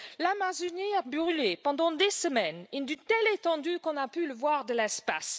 L'Amazonie a brûlé pendant des semaines, sur une telle étendue qu'on a pu le voir de l'espace.